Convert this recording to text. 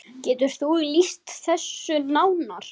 Getur þú lýst þessu nánar?